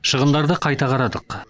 шығындарды қайта қарадық